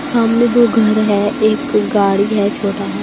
सामने दो घर है एक गाड़ी है छोटा हा ।